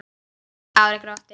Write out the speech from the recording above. Ari glotti.